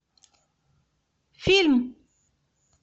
фильм